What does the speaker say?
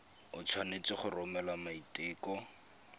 o tshwanetse go romela maiteko